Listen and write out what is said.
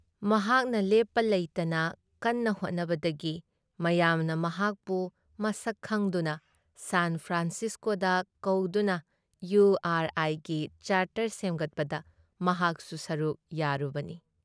ꯃꯍꯥꯛꯅ ꯂꯦꯞꯄ ꯂꯩꯇꯅ ꯀꯟꯅ ꯍꯣꯠꯅꯕꯗꯒꯤ ꯃꯌꯥꯝꯅ ꯃꯍꯥꯛꯄꯨ ꯃꯁꯛ ꯈꯪꯗꯨꯅ ꯁꯥꯟ ꯐ꯭ꯔꯥꯟꯁꯤꯁꯀꯣꯗ ꯀꯧꯗꯨꯅ ꯏꯌꯨꯨ ꯑꯥꯔ ꯑꯥꯏꯒꯤ ꯆꯥꯔꯇꯔ ꯁꯦꯝꯒꯠꯄꯗ ꯃꯍꯥꯛꯁꯨ ꯁꯔꯨꯛ ꯌꯥꯔꯨꯕꯅꯤ ꯫